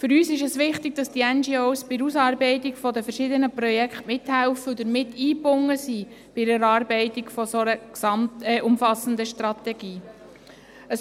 Für uns es wichtig, dass die NGOs bei der Ausarbeitung der verschiedenen Projekte mithelfen und damit bei der Erarbeitung einer solchen umfassenden Strategie eingebunden sind.